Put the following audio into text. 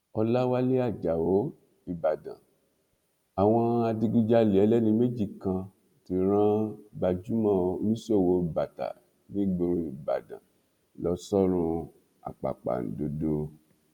ọlàwálẹ ajáò ìbàdàn àwọn adigunjalè ẹlẹni méjì kan ti rán gbajúmọ oníṣòwò bàtà nígboro ìbàdàn lọ sọrun àpàpàǹdodo